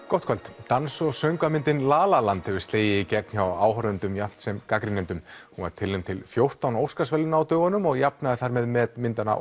gott kvöld dans og söngvamyndin la la land hefur slegið í gegn hjá áhorfendum jafnt sem gagnrýnendum hún var tilnefnd til fjórtán Óskarsverðlauna á dögunum og jafnaði þar með met myndanna